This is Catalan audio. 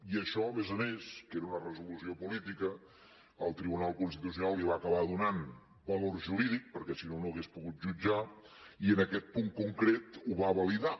i a això a més a més que era una resolució política el tribunal constitucional li va acabar donant valor jurídic perquè si no no ho hauria pogut jutjar i en aquest punt concret ho va validar